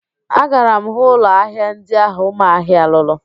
Agara m hụ ụlọ ahịa ndi ahụ Ụmahị lụrụ